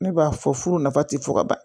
Ne b'a fɔ furu nafa ti fɔ ka ban